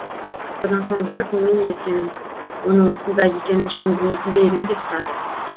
содан соң барып немене сен оның осында екенін шын білмейтін бе едің деп сұрады